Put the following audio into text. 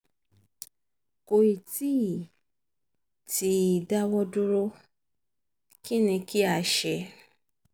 kò ì tí ì tí ì dáwọ́ dúró kí ni kí a ṣe?